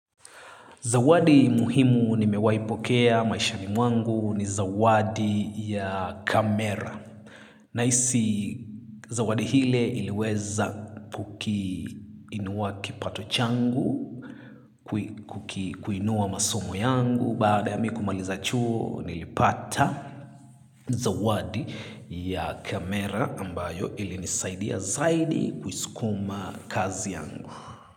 Zawadi muhimu nimewaipokea maishani mwangu ni zawadi ya kamera. Nahisi, zawadi ile iliweza kukiinua kipato changu, kuinua masomo yangu, baada ya mimi kumaliza chuo nilipata zawadi ya kamera ambayo ilinisaidia zaidi kuisukuma kazi yangu.